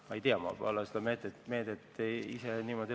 Ma ei tea, ma ise ei ole seda meedet läbi lugenud.